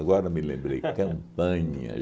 Agora me lembrei, Campanha.